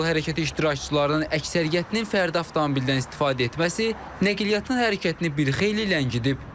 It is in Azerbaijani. Yol hərəkəti iştirakçılarının əksəriyyətinin fərdi avtomobildən istifadə etməsi nəqliyyatın hərəkətini bir xeyli ləngidib.